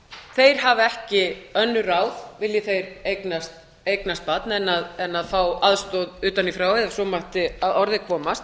þeir hafa ekki önnur ráð vilji þeir eignast barn en að fá aðstoða utan í frá ef svo mætti að orði komast